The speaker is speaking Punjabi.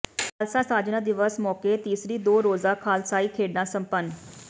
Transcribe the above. ਖ਼ਾਲਸਾ ਸਾਜਨਾ ਦਿਵਸ ਮੌਕੇ ਤੀਸਰੀ ਦੋ ਰੋਜ਼ਾ ਖ਼ਾਲਸਾਈ ਖੇਡਾਂ ਸੰਪੰਨ